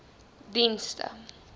dienste